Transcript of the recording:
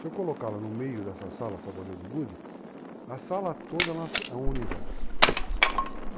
Se eu colocá-la no meio dessa sala, essa bolinha de gude, a sala toda é um universo.